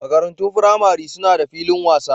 Makarantun firamare suna da filin wasa.